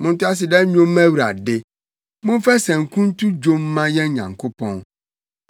Monto aseda nnwom mma Awurade. Momfa sanku nto dwom mma yɛn Nyankopɔn.